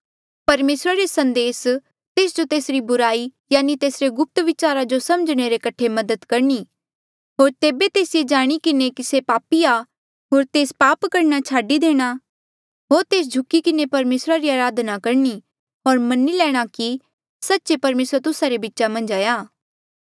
परमेसरा रे संदेसा तेस जो तेसरी बुराई यानि तेसरी गुप्त विचारा जो समझणे रे कठे मदद करणी होर तेबे तेस ये जाणी किन्हें कि से पापी आ होर तेस पाप करणा छाडी देणा होर तेस झुकी किन्हें परमेसरा री अराधना करणी होर मनी लैणा कि सच्चे परमेसर तुस्सा रे बीचा मन्झ आ